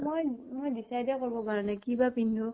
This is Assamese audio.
মই মই decide কৰিব পৰা নাই কি বা পিন্ধু।